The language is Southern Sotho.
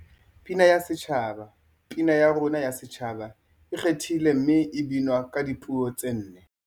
Pina ya Setjhaba Pina ya rona ya Setjhaba e ikgethile mme e binwa ka dipuo tse nne.